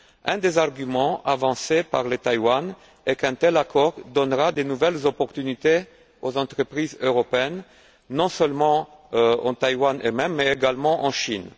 Un des arguments avancés par Taïwan est qu'un tel accord donnera de nouvelles opportunités aux entreprises européennes, non seulement à Taïwan, mais également en Chine.